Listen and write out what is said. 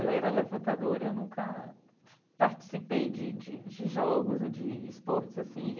Ela era levantadora, e eu nunca participei de de de jogos ou de esportes assim.